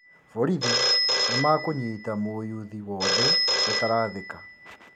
Borithi nĩmakũnyita mũyuthi wothe ũtarathĩka